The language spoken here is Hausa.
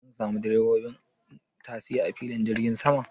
Zan samu direbobin tasi a filin jirgin saman